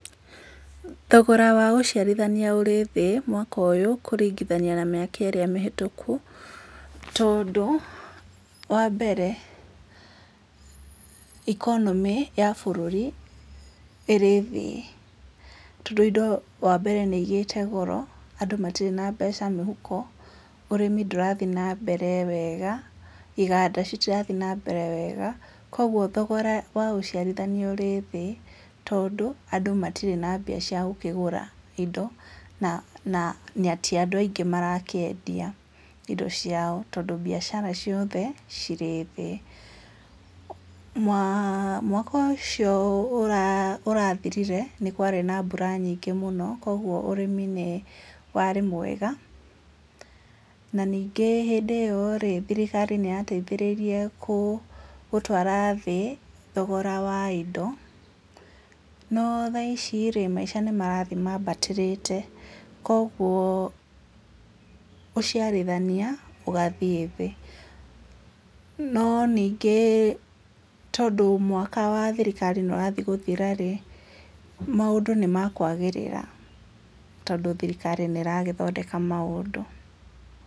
Thogora wa gũciarithania ũrĩ thĩ mwaka ũyũ kũringithania na mĩaka ĩrĩa mĩhĩtũku. Tondũ wa mbere, economy ya bũrũri ĩrĩ thĩ. Tondũ indo wa mbere nĩ igĩte goro. Andũ matĩrĩ na mbeca mĩhuko, ũrĩmi ndũrathiĩ na mbere wega, iganda citirathiĩ na mbere wega, koguo thogora wa ũciarithania ũrĩ thĩ, tondũ andũ matirĩ na mbia cia gũkĩgũra indo na na ti andũ aingĩ marakĩendia indo ciao. Tondũ mbiacara ciothe cirĩ thĩ. Mwaka ũcio ũrathirire, nĩ kwarĩ na mbura nyingĩ mũno. Koguo ũrĩmi nĩ warĩ mwega, na ningĩ hĩndĩ ĩyo rĩ, thirikari nĩ yateithĩrĩirie gũtwara thĩ thogora wa indo, no thaici-rĩ maisha nĩ marathiĩ mambatĩrĩte. Koguo ũciarithania, ũgathiĩ thĩ. No ningĩ tondũ mwaka wa thirikari nĩ ũrathiĩ gũthira-rĩ, maũndũ nĩ mekwagĩrĩra tondũ thirikari nĩ ĩragĩthondeka maũndũ.